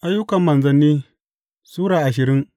Ayyukan Manzanni Sura ashirin